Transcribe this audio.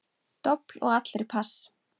Dobl og allir pass.